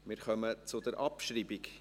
Wir kommen zur Abschreibung.